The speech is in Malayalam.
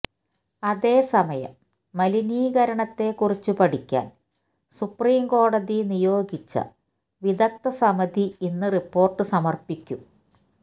അതേസമയം മലിനീകരണത്തെ കുറിച്ച് പഠിക്കാൻ സുപ്രീംകോടതി നിയോഗിച്ച വിദഗ്ധ സമിതി ഇന്ന് റിപ്പോര്ട്ട് സമര്പ്പിക്കും